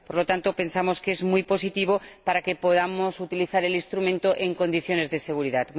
Por lo tanto, pensamos que es muy positivo para que podamos utilizar el instrumento en condiciones de seguridad.